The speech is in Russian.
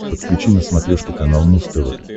подключи на смотрешке канал муз тв